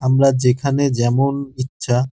আমরা যেখানে যেমন ইচ্ছা --